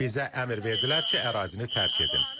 Bizə əmr verdilər ki, ərazini tərk edin.